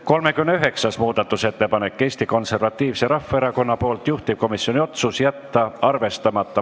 39. muudatusettepanek on Eesti Konservatiivselt Rahvaerakonnalt, juhtivkomisjoni otsus: jätta arvestamata.